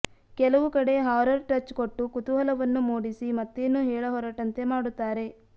ಕೆಲವು ಕಡೆ horror touch ಕೊಟ್ಟು ಕುತೂಹಲವನ್ನು ಮೂಡಿಸಿ ಮತ್ತೇನು ಹೇಳ ಹೊರಟಂತೆ ಮಾಡುತ್ತಾರೆ